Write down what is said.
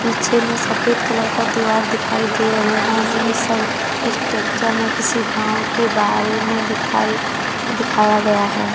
पिछे में सफेद कलर का दीवार दिखाई दे रहे हैं इन सब स्ट्रक्चर में किसी गांव के बारे में दिखाई दिखाया गया है।